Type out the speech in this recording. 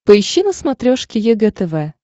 поищи на смотрешке егэ тв